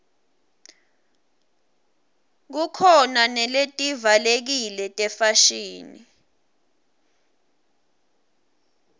khukhona naletivalekile tefashini